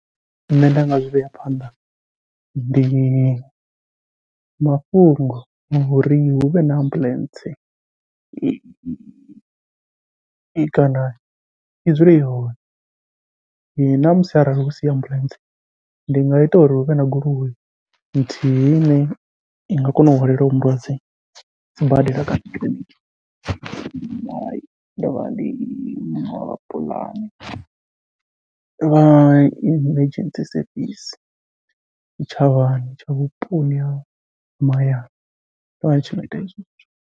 Nṋe nda nga zwivhea phanḓa ndi mafhungo a uri huvhe na ambuḽentse, kana i dzule i hone ṋamusi arali husi ambuḽentse, ndi nga ita uri huvhe na goloi nthihi ine i nga kona u hwalela hoyo mulwadze sibadela kana kiḽiniki, ndi vha emergency sevisi tshitshavhani tsha vhuponi ha mahayani vha tshi .